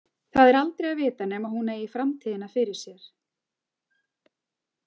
Það er aldrei að vita nema hún eigi framtíðina fyrir sér.